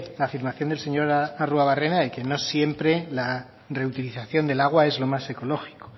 la afirmación del señor arruabarrena de que no siempre la reutilización del agua es lo más ecológico